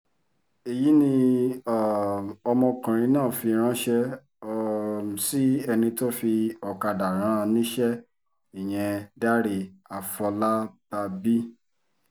èyí ni um ọmọkùnrin náà fi ránṣẹ́ um sí ẹni tó fi ọ̀kadà rán an níṣẹ́ ìyẹn dáre àfọlábábí